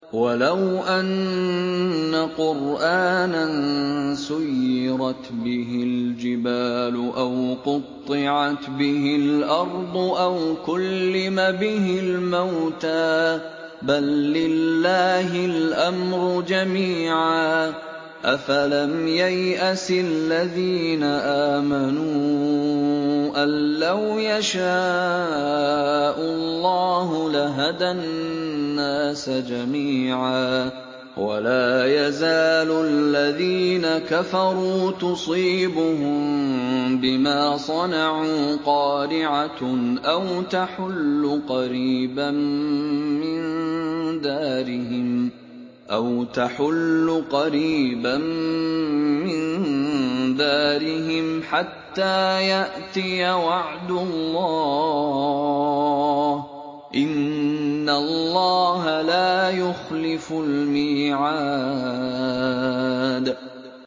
وَلَوْ أَنَّ قُرْآنًا سُيِّرَتْ بِهِ الْجِبَالُ أَوْ قُطِّعَتْ بِهِ الْأَرْضُ أَوْ كُلِّمَ بِهِ الْمَوْتَىٰ ۗ بَل لِّلَّهِ الْأَمْرُ جَمِيعًا ۗ أَفَلَمْ يَيْأَسِ الَّذِينَ آمَنُوا أَن لَّوْ يَشَاءُ اللَّهُ لَهَدَى النَّاسَ جَمِيعًا ۗ وَلَا يَزَالُ الَّذِينَ كَفَرُوا تُصِيبُهُم بِمَا صَنَعُوا قَارِعَةٌ أَوْ تَحُلُّ قَرِيبًا مِّن دَارِهِمْ حَتَّىٰ يَأْتِيَ وَعْدُ اللَّهِ ۚ إِنَّ اللَّهَ لَا يُخْلِفُ الْمِيعَادَ